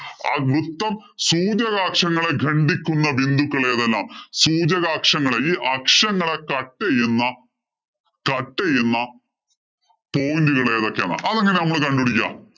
ആ വൃത്തം സൂചകാകക്ഷങ്ങളെ ഗണ്ടിക്കുന്ന ബിന്ദുക്കള്‍ ഏതെല്ലാം സൂചകാക്ഷങ്ങളെ ഈ അക്ഷങ്ങളെ cut ചെയ്യുന്ന cut ചെയ്യുന്ന point ഉകള്‍ ഏതൊക്കെ എന്നാ അതെങ്ങന നമ്മള്‍ കണ്ടുപിടിക്കാ